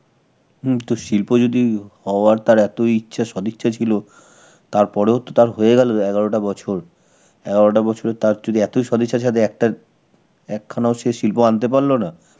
হম তো শিল্প যদি হ~ হওয়ার তার এতই ইচ্ছা, সদিচ্ছা ছিল, তার পরেও তো তার হয়ে গেল এগারোটা বছর. এগারোটা বছরে তার যদি এতই সদিচ্ছা সাথে একটা~ একখানা ও সে শিল্প আনতে পারল না?